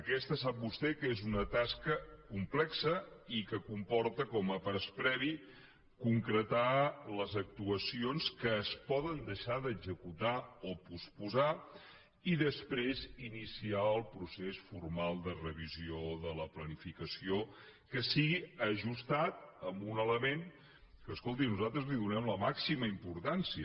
aquesta sap vostè que és una tasca complexa i que comporta com a pas previ concretar les actuacions que es poden deixar d’executar o posposar i després iniciar el procés formal de revisió de la planificació que sigui ajustat a un element a què escolti nosaltres donem la màxima importància